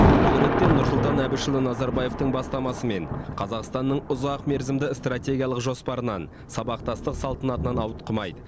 бұл ретте нұрсұлтан әбішұлы назарбаевтың бастамасымен қазақстанның ұзақ мерзімді стратегиялық жоспарынан сабақтастық салтанатынан ауытқымайды